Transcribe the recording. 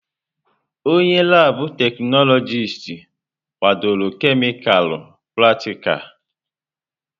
Onye laabụ̀ teknọlọjịst kwadoro kemịkalụ pratikal.